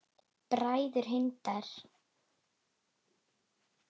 Bræður Hindar